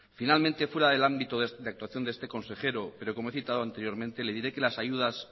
finalmente fuera del ámbito de actuación de este consejero pero como he citado anteriormente le diré que las ayudas